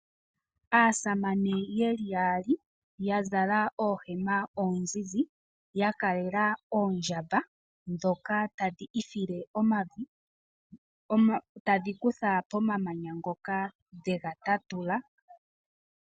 Aasamane yeli yaali ya zala oohema oonzinzi. Ya kalela oondjamba ndhoka tadhi ifile omavi. Tadhi kutha pomamanya ngoka dhe ga tatula.